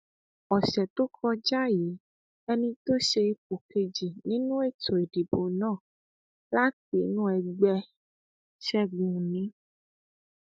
ọsẹ tó kọjá yìí ẹni tó ṣe ipò kejì nínú ètò ìdìbò náà láti inú ẹgbẹ ṣẹgun òní